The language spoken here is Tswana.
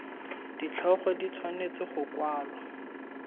ditlhogo di tshwanetse go kwalwa